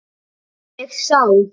Ég sá.